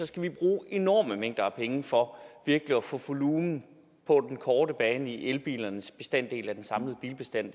skal vi bruge enorme mængder af penge for virkelig at få volumen på den korte bane hvad angår elbilernes bestanddel af den samlede bilbestand